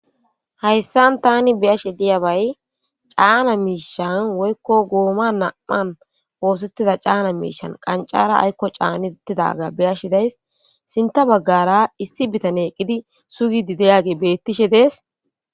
hayssan tani be'ashe diyabay caana miishan woykko gooma na'an woosettida caana miishan qancara aykko caanidettidaga beyashi days sinta baggara issi bitane eqqidi sugidi diyage bettishe dees